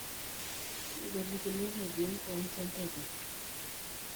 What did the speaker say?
Ngolikinot eti enkiwanja enteke.